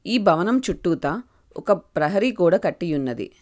ఈ భవనం చుట్టూతా ఒక ప్రహరీ గోడ కట్టి ఉన్నదీ.